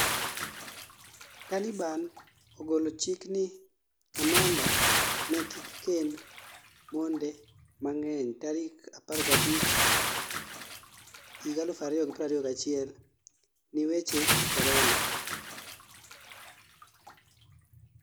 Taliban ogolo chik ni kamanda ne kik kend monde mangeny tarik 15 2021 ni weche korona